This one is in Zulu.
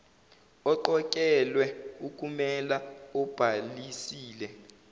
oqokelwe ukumela obhalisile